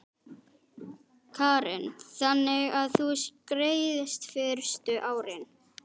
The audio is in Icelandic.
Karen: Þannig að þú skreiðst fyrstu árin?